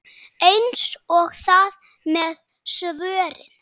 Eins er það með svörin.